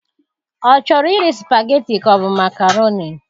Ọ chọrọ iri spaghetti ka ọ bu makaroni?